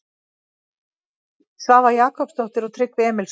Svava Jakobsdóttir og Tryggvi Emilsson.